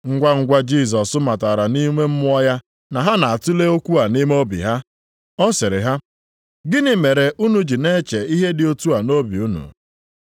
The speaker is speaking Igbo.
Ngwangwa Jisọs matara nʼime mmụọ ya na ha na-atule okwu a nʼime obi ha. Ọ sịrị ha, “Gịnị mere unu ji na-eche ihe dị otu a nʼobi unu?